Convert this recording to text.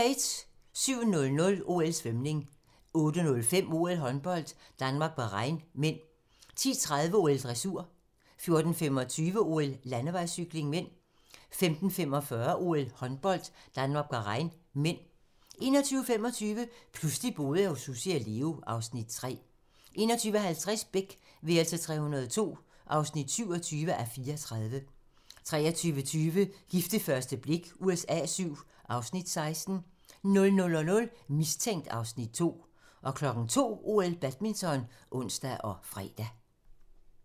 07:00: OL: Svømning 08:05: OL: Håndbold - Danmark-Bahrain (m) 10:30: OL: Dressur 14:25: OL: Landevejscykling (m) 15:45: OL: Håndbold - Danmark-Bahrain (m) 21:25: Pludselig boede jeg hos Sussi og Leo (Afs. 3) 21:50: Beck: værelse 302 (27:34) 23:20: Gift ved første blik USA VII (Afs. 16) 00:00: Mistænkt (Afs. 2) 02:00: OL: Badminton (ons og fre)